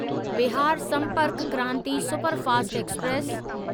Bihar Sampark Kranti superfast express